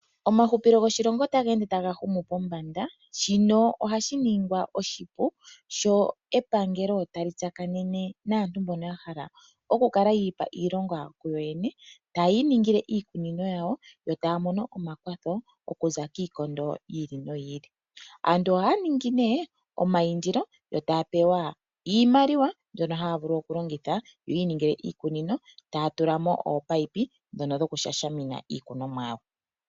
Omahupilo goshilongo otaga ende taga humu pombanda . Shino ohashi ningwa oshipu sho epangelo tali tsakanene naantu mbono yahala okukala yiipa iilonga kuyoyene , tayi iningile iikunino yawo, yo taya mono omakwatho okuza kiikondo yiili noyili . Aantu ohaya ningi omaindilo yo taya pewa iimaliwa mbyono haya vulu okulongitha yiiningile iikunino . Ohaya tulamo ominino ndhono dhokushashamina iimeno yawo.